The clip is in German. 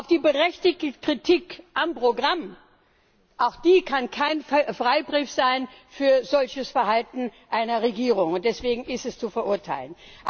Auch die berechtigte Kritik am Programm, auch die kann kein Freibrief sein für ein solches Verhalten einer Regierung, und deswegen ist es zu verurteilen.